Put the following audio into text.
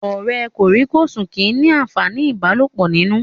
Ọ̀rẹ́ kòríkòsùn kìí ní àǹfàní ìbálòpọ̀ nínú